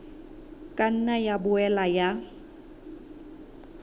ka nna ya boela ya